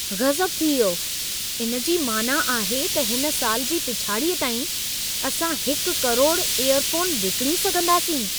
गज़ब थी वियो! इन जी मानाअ आहे त हिन साल जी पिछाड़ीअ ताईं, असां 1 करोड़ इयरफ़ोन विकिणी सघंदासीं।